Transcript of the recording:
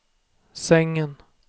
sängen